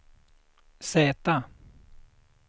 Z